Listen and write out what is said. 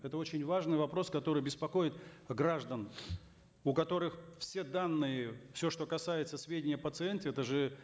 это очень важный вопрос который беспокоит граждан у которых все данные все что касается сведений о пациенте это же